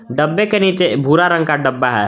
डब्बे के नीचे भूरा रंग का डब्बा है।